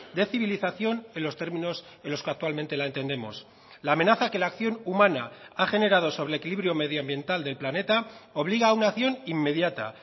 de civilización en los términos en los que actualmente la entendemos la amenaza que la acción humana ha generado sobre el equilibrio medioambiental del planeta obliga a una acción inmediata